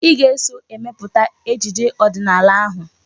Ị ga-eso emepụta ejije ọdịnala ahụ!